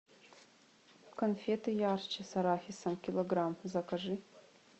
конфеты ярче с арахисом килограмм закажи